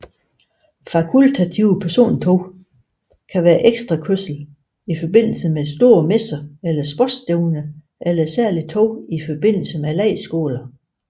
Fakultative persontog kan være ekstrakørsel i forbindelse med store messer eller sportsstævner eller særlige tog i forbindelse med lejrskoler